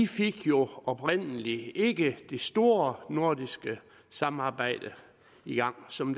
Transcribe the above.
fik jo oprindelig ikke det store nordiske samarbejde i gang som